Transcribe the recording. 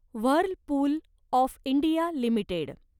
Whirlpool of India limited